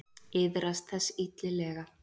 Iðrast þess illilega.